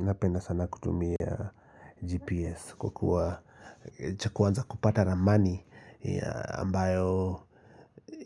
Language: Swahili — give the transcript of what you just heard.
Napenda sana kutumia GPS kwa kuwa cha kwanza kupata ramani, ambayo